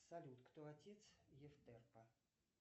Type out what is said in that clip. салют кто отец евтерпа